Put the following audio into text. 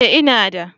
Ee ina da.